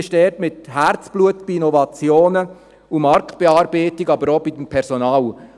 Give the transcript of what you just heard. Man kümmert sich mit Herzblut um Innovationen und Marktbearbeitung, aber auch ums Personal.